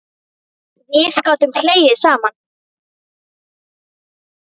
Við gátum hlegið saman.